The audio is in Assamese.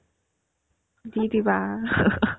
দি দিবা